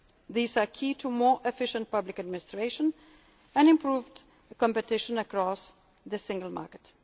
initiatives. These are key to more efficient public administration and improved competition across the